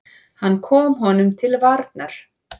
Hann kom honum til varnar.